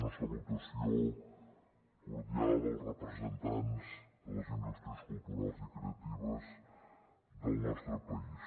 una salutació cordial als representants de les indústries culturals i creatives del nostre país